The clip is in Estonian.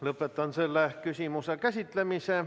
Lõpetan selle küsimuse käsitlemise.